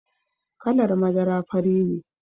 Kalar madara fari ne.